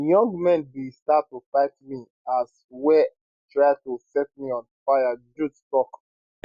young men bin start to fight me as well try to set me on fire jude tok